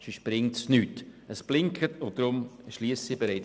Sonst bringt es nichts.